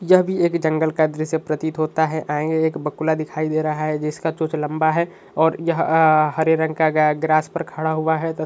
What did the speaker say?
यह भी एक जंगल का दृश्य प्रतित होता है आगे एक बकुला दिखाई दे रहा है। जिसका चोंच लंबा है और यह अ हरे रंग का गाय ग्रास पर खड़ा हुआ है त --